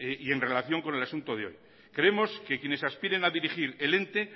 y en relación con el asunto de hoy creemos que quienes aspiren de dirigir el ente